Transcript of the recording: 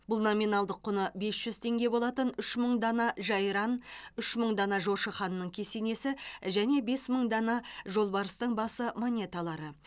бұл номиналдық құны бес жүз теңге болатын үш мың дана жайран үш мың дана жошы ханның кесенесі және бес мың дана жолбарыстың басы монеталары